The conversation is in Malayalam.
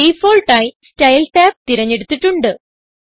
ഡിഫാൾട്ട് ആയി സ്റ്റൈൽ ടാബ് തിരഞ്ഞെടുത്തിട്ടുണ്ട്